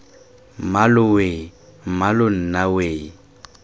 mmalooo weeee mmaloo nna weee